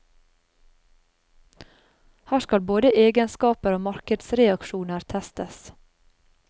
Her skal både egenskaper og markedsreaksjoner testes.